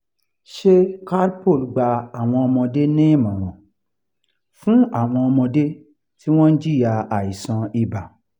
ṣé calpol gba àwọn ọmọdé ní ìmọ̀ràn fún àwọn ọmọdé tí wọ́n ń jìyà aisan iba?